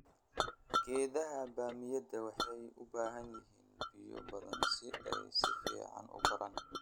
Geedaha bamiyada waxay u baahan yihiin biyo badan si ay si fiican u koraan.